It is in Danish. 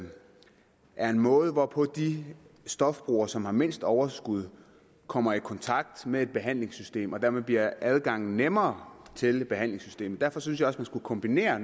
er en måde hvorpå de stofbrugere som har mindst overskud kommer i kontakt med et behandlingssystem og dermed bliver adgangen nemmere til behandlingssystemet derfor synes jeg også man skulle kombinere